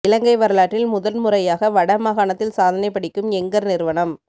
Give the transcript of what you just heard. இலங்கை வரலாற்றில் முதல் முறையாக வட மாகாணத்தில் சாதனை படைக்கும் எங்கர் நிறுவனம்